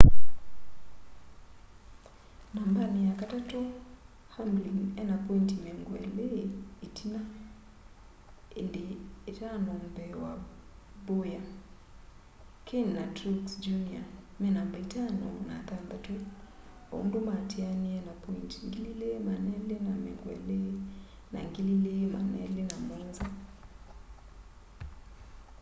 nambani yakatatu hamlin ena pointi miongo ili itina indi itano mbee wa bowyer kahne na truex jr me namba itano na thantatu o undu maatianie na pointi 2,220 na 2,207